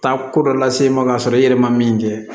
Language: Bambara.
Taa ko dɔ lase e ma k'a sɔrɔ i yɛrɛ ma min kɛ